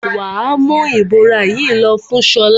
Wà á mú ìbora yìí lọ fún Ṣọlá!